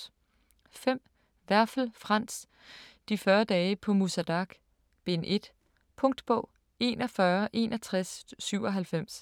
5. Werfel, Franz: De 40 dage på Musa Dagh: Bind 1 Punktbog 416197